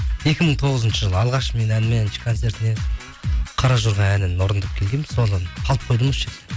екі мың тоғызыншы жылы алғаш мен әнмен концертіме қаражорға әнін орындап келгенмін содан қалып қойдым осы жерде